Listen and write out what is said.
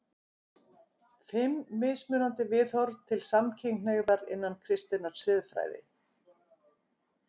FIMM MISMUNANDI VIÐHORF TIL SAMKYNHNEIGÐAR INNAN KRISTINNAR SIÐFRÆÐI